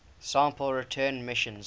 sample return missions